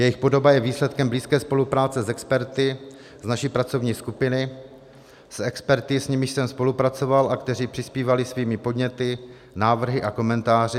Jejich podoba je výsledkem blízké spolupráce s experty z naší pracovní skupiny, s experty, s nimiž jsem spolupracoval a kteří přispívali svými podněty, návrhy a komentáři.